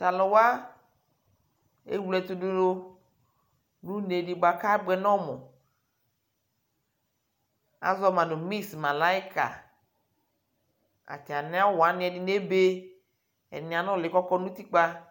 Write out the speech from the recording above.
Tʋ alʋ wa ewle ɛtʋ dʋ nʋ une dɩ bʋa kʋ abʋɛ nʋ ɔmʋ Azɔ ma nʋ mis malayika Atamɩ awʋ wanɩ ɛdɩnɩ ebe, ɛdɩnɩ anʋlɩ kʋ ɔkɔ nʋ utikpǝ